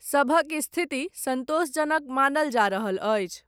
सभक स्थिति, सन्तोषजनक मानल जा रहल अछि।